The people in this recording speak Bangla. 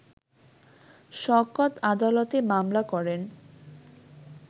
শওকত আদালতে মামলা করেন